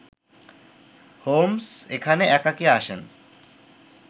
Holmes এখানে একাকী আসেন